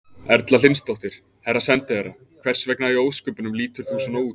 Erla Hlynsdóttir: Herra sendiherra, hvers vegna í ósköpunum lítur þú svona út?